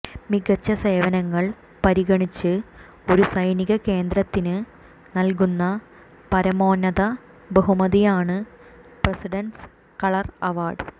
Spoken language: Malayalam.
മികച്ച സേവനങ്ങൾ പരിഗണിച്ച് ഒരു സൈനിക കേന്ദ്രത്തിന് നൽകുന്ന പരമോന്നത ബഹുമതിയാണ് പ്രസിഡന്റ്സ് കളർ അവാർഡ്